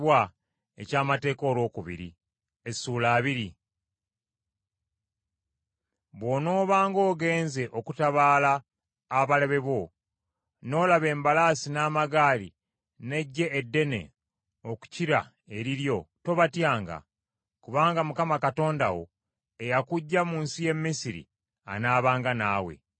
Bw’onoobanga ogenze okutabaala abalabe bo, n’olaba embalaasi n’amagaali n’eggye eddene okukira eriryo, tobatyanga; kubanga Mukama Katonda wo, eyakuggya mu nsi y’e Misiri, anaabanga naawe.